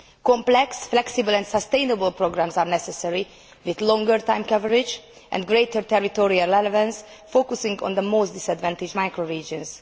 Complex, flexible and sustainable programmes are necessary, with longer time coverage and greater territorial relevance, focusing on the most disadvantaged micro regions.